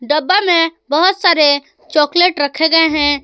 डब्बा में बहुत सारे चॉकलेट रखे गए हैं।